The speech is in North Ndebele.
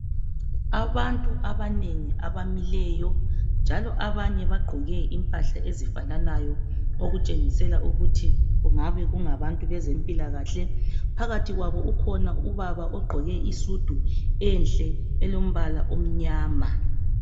Abantu abanengi abamileyo njalo abanye bagqoke impahla ezifananayo okutshengisela ukuthi kungaba kungabantu bezempilakahle phakathi kwabo ukhona ubaba igqoke isudu enhle elombala omnyama